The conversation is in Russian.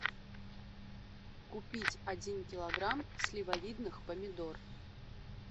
купить один килограмм сливовидных помидор